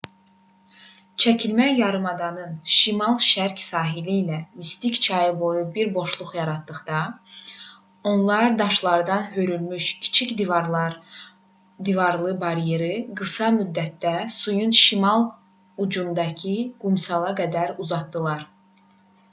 çəkilmə yarımadanın şimal-şərq sahili ilə mistik çayı boyu bir boşluq yaratdıqda onlar daşlardan hörülmüş kiçik divarlı baryeri qısa müddətdə suyun şimal ucundakı qumsala qədər uzatdılar